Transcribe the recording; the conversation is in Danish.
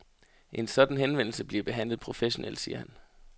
En sådan henvendelse bliver behandlet professionelt, siger han.